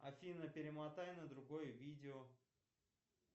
афина перемотай на другое видео